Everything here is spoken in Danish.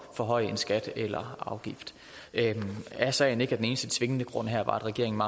forhøje en skat eller afgift er sagen ikke at den eneste tvingende grund her var at regeringen